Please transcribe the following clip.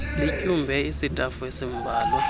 lityumbe isitafu esimbalwa